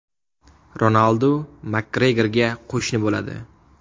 Ronaldu Makgregorga qo‘shni bo‘ladi.